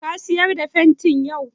Ka sayar da fenti yau?